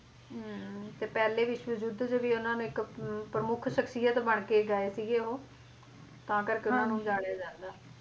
ਹੁੰ ਤੇ ਪਹਿਲੇ ਵਿਸ਼ਵ ਯੁੱਧ ਚ ਵੀ ਉਹਨਾਂ ਨੇ ਇੱਕ ਹੁੰ ਪ੍ਰਮੁੱਖ ਸਖਸ਼ੀਅਤ ਬਣਕੇ ਗਏ ਸੀਗੇ ਉਹ ਤਾਂ ਕਰਕੇ ਉਹਨਾਂ ਨੂੰ ਜਾਣਿਆ ਜਾਂਦਾ